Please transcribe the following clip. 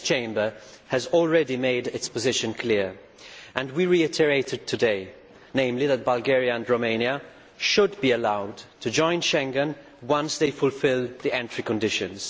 This Chamber has already made its position clear and we reiterate it today namely that Bulgaria and Romania should be allowed to join Schengen once they fulfil the entry conditions.